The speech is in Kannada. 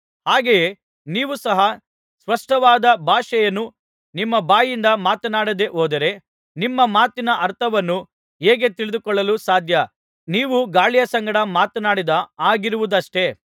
ಹಾಗೆಯೇ ನೀವೂ ಸಹ ಸ್ಪಷ್ಟವಾದ ಭಾಷೆಯನ್ನು ನಿಮ್ಮ ಬಾಯಿಂದ ಮಾತನಾಡದೆ ಹೋದರೆ ನಿಮ್ಮ ಮಾತಿನ ಅರ್ಥವನ್ನು ಹೇಗೆ ತಿಳಿದುಕೊಳ್ಳಲು ಸಾಧ್ಯ ನೀವು ಗಾಳಿಯ ಸಂಗಡ ಮಾತನಾಡಿದ ಹಾಗಿರುವುದಷ್ಟೆ